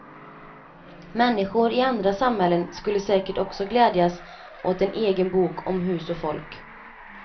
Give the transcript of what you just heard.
Människor i andra samhällen skulle säkert också glädjas åt en egen bok om hus och folk.